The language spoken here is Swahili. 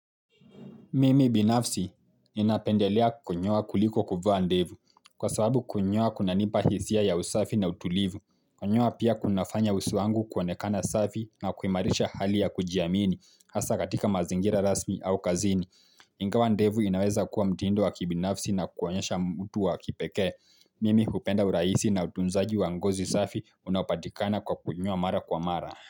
Mimi binafsi ninapendelea kuonyoa kuliko kuvaa ndevu kwa sababu kunyoa kunanipa hisia ya usafi na utulivu. Kunyoa pia kunafanya uso wangu kuwaonekana usafi na kuimarisha hali ya kujiamini hasa katika mazingira rasmi au kazini. Ingawa ndevu inaweza kuwa mtindo wa kibinafsi na kuonyesha mtu wa kipekee. Mimi hupenda uraisi na utunzaji wa ngozi safi unaopatikana kwa kunyoa mara kwa mara.